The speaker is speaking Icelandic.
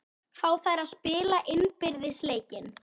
Fá þær að spila innbyrðis leikinn?